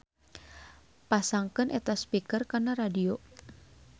Pasangkeun eta speaker kana radio.